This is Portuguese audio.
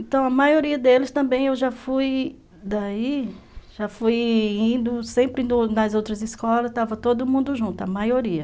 Então, a maioria deles também eu já fui daí, já fui indo, sempre indo nas outras escolas, estava todo mundo junto, a maioria.